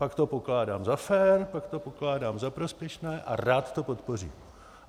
Pak to pokládám za fér, pak to pokládám za prospěšné a rád to podpořím.